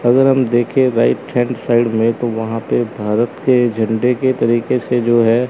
अगर हम देखें राइट हैंड साइड में तो वहां पे भारत के झंडे के तरीके से जो है।